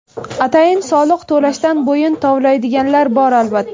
Atayin soliq to‘lashdan bo‘yin tovlaydiganlar bor, albatta.